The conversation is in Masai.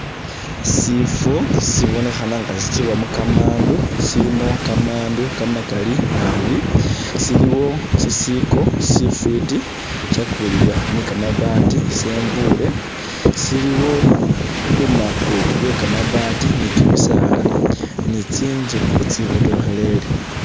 Sifwo sibonekhana nga sitsukhibwamu kamandu, silimu kamandu kamakali nabi. Siliwo sisiko sifwiti ishakuulibwa ni kamabati sembuule, siliwo lumako lwe kamabaati ni kimisaala ni tsinzu, itsibotokhelele.